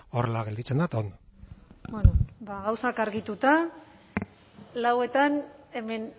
horrela gelditzen da eta ondo bueno bada gauzak argituta lauretan hemen